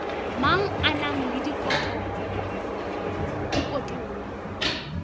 mang a na le dikotola